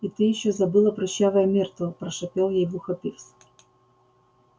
и ты ещё забыла прыщавая миртл прошипел ей в ухо пивз